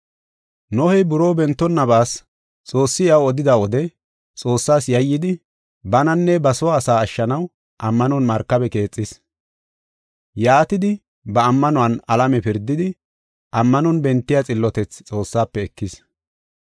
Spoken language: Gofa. Nohey buroo bentonnabas Xoossi iyaw odida wode Xoossas yayidi, bananne ba soo asaa ashshanaw ammanon markabe keexis. Yaatidi ba ammanuwan alame pirdidi, ammanon bentiya xillotethi Xoossafe ekis.